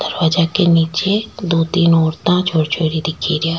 दरवाजा के नीचे दो तीन औरताँ छोर छोरी दिखे रिया।